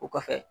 O kɔfɛ